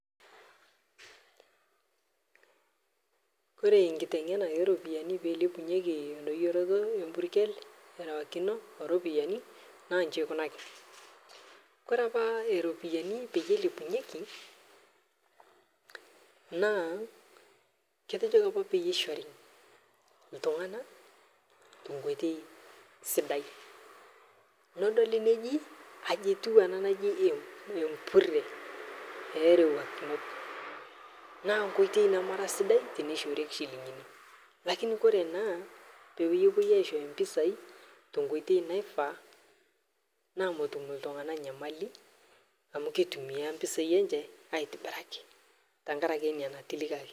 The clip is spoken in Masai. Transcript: Kore enkiteng'ena oropiyani peilepunyeki endoyoroto empurkel erewakino oropiyani naa inji eikunaki, kore apaa iropiyani peyie eilepunyeki naa ketejoki apa peyie eishori iltung'ana tenkoitoi sidai. Nodoli neji aji etiu ena naji [ih] empurre peerewakinoi. Naa nkoitoi nemara sidai teneishorieki shilingini. Lakini kore naa pewuoi aishoyo mpisai tenkoitoi naifaa naa metum iltung'ana nyamali amu keitumia mpisai anche aitibiraki tengaraki ina natilikaki.